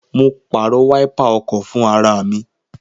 Mo pàrọ̀ wáípà ọkọ̀ fún ara mi